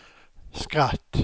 skratt